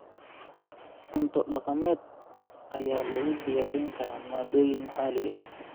Cunto dhaqameed ayaa lagu diyaarin karaa maaddooyinka maxaliga ah.